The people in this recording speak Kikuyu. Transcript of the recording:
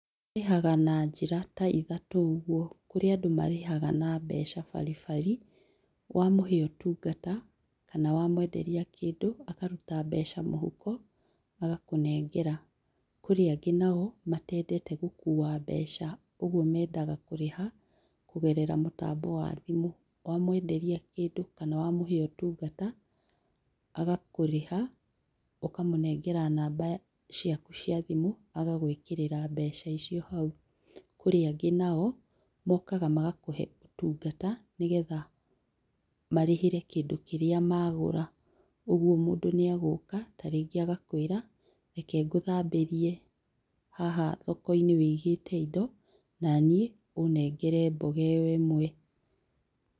Marĩhaga na njĩra ta ithatũ ũguo kũrĩ andũ marĩhaga na mbeca baribari wamahe ũtungata kana wamenderĩa kĩndũ akaruta mbeca mũhuko agakũnengera, kũrĩ angĩ nao matendete gũkua mbeca ũguo mendaga kũrĩha kũgerera mũtambo wa thimũ wamwenderia kĩndũ kana wamuhe ũtungata agakũrĩha ũkamũnengera namba ciaku cia thimũ agagwĩkĩrĩra mbeca icio hau. Kũrĩ angĩ nao mokaga magakũhe ũtungata nĩgetha marĩhĩre kĩndũ kĩrĩa magura ũgũo mũndũ nĩagũka ta rĩngĩ agakwĩra reke ngũthambĩrie haha thokoinĩ wũigĩte indo naniĩ ũnengere mboga ĩyo imwe.